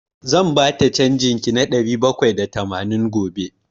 Zan bata canjin ki na ɗari bakwai da tamanin gobe.